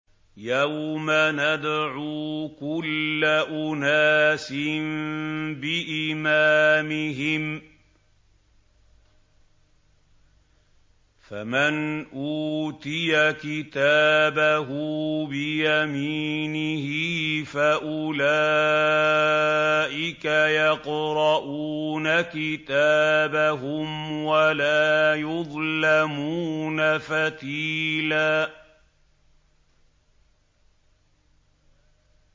يَوْمَ نَدْعُو كُلَّ أُنَاسٍ بِإِمَامِهِمْ ۖ فَمَنْ أُوتِيَ كِتَابَهُ بِيَمِينِهِ فَأُولَٰئِكَ يَقْرَءُونَ كِتَابَهُمْ وَلَا يُظْلَمُونَ فَتِيلًا